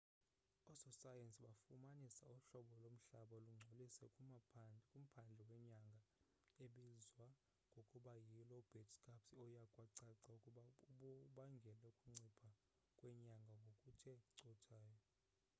ososayensi bafumanise uhlobo lomhlaba lungcolise kumphandle wenyanga ebizwa ngokuba yi lobate scarps oye kwacaca ukuba ubangele ukuncipha kwenyanga ngokuthe cothayo